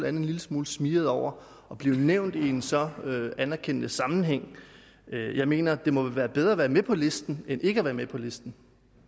end en lille smule smigret over at blive nævnt i en så anerkendende sammenhæng jeg mener at det jo må være bedre at være med på listen end ikke at være med på listen